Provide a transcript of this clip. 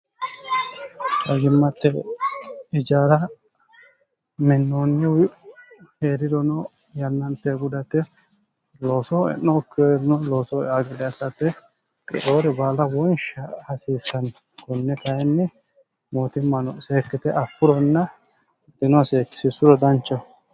rajimmatte ijaara minnoonnihu hee'rirono yannante gudate looso e'nookkeerno looso agileessate qiroori baala wonsha hasiissanni kunni kayinni mootimmano seekkite affuronna ditinohasieekkisissuro danchah